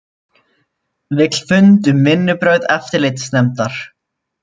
Vill fund um vinnubrögð eftirlitsnefndar